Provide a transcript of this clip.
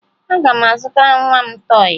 Aga m azụtara nwa m tọọyị